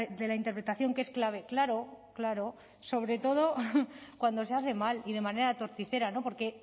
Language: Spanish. de la interpretación que es clave claro claro sobre todo cuando se hace mal y de manera torticera porque